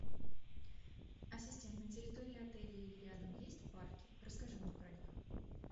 ассистент на территории отеля или рядом есть парки расскажи мне про них